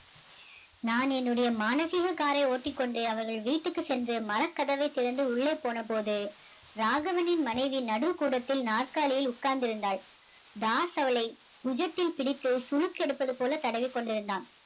நான் என்னுடைய மானசீக car ஐ ஓட்டிக்கொண்டு அவர்கள் வீட்டுக்கு சென்று மரக்கதவை திறந்து உள்ளே போன போது ராகவனின் மனைவி நடுக்கூடத்தில் நாற்காலியில் உட்கார்ந்திருந்தாள் தாஸ் அவளை புஜத்தில் பிடித்து சுளுக்கு எடுப்பது போல தடவிக் கொண்டிருந்தான்